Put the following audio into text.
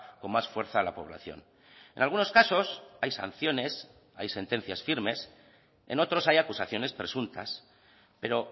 con más fuerza a la población en algunos casos hay sanciones hay sentencias firmes en otros hay acusaciones presuntas pero